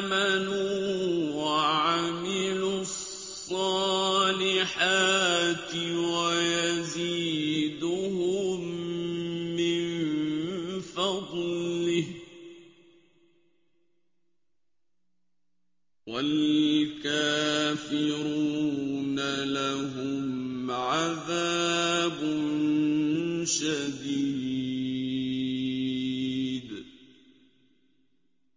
آمَنُوا وَعَمِلُوا الصَّالِحَاتِ وَيَزِيدُهُم مِّن فَضْلِهِ ۚ وَالْكَافِرُونَ لَهُمْ عَذَابٌ شَدِيدٌ